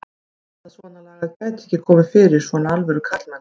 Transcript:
Ég hélt að svonalagað gæti ekki komið fyrir svona alvöru karlmenn.